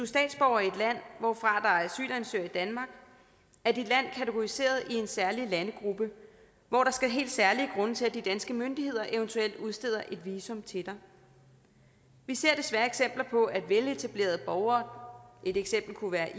statsborger i et land hvorfra der asylansøgere i danmark er dit land kategoriseret i en særlig landegruppe hvor der skal helt særlige grunde til at de danske myndigheder eventuelt udsteder et visum til dig vi ser desværre eksempler på at veletablerede borgere et eksempel kunne være